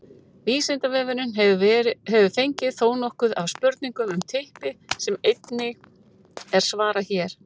vísindavefurinn hefur fengið þónokkuð af spurningum um typpi sem einnig er svarað hér